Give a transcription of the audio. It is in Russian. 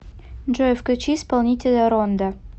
джой включи исполнителя ронда